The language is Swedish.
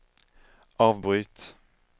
avbryt